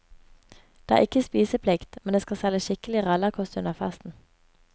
Det er ikke spiseplikt, men det skal selges skikkelig rallarkost under festen.